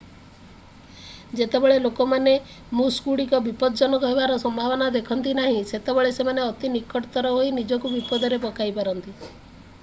ଯେତେବେଳେ ଲୋକମାନେ ମୂସଗୁଡ଼ିକ ବିପଜ୍ଜନକ ହେବାର ସମ୍ଭାବନା ଦେଖନ୍ତି ନାହିଁ ସେତେବେଳେ ସେମାନେ ଅତି ନିକଟତର ହୋଇ ନିଜକୁ ବିପଦରେ ପକାଇ ପାରନ୍ତି